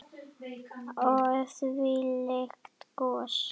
Og þvílíkt gos.